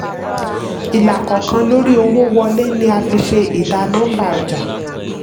ilàkọ̀ọ̀kan lórí owó wọlé ni a fi ṣe ìdá nọ́mbà ọjà.